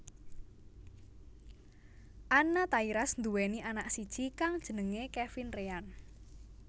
Anna Tairas nduwéni anak siji kang jenengé Kevin Reyan